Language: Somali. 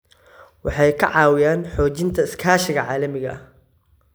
Waxay ka caawiyaan xoojinta iskaashiga caalamiga ah.